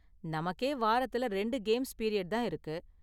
நமக்கே வாரத்துல ரெண்டு கேம்ஸ் பீரியட் தான் இருக்கு.